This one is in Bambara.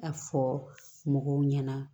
A fɔ mɔgɔw ɲɛna